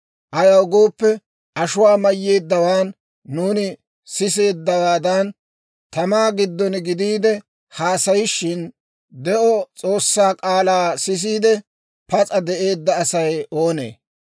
Ayaw gooppe, ashuwaa mayyeeddawaan, nuuni siseeddawaadan tamaa giddon gidiide haasayishin, de'o S'oossaa k'aalaa sisiide, pas'a de'eedda Asay oonee?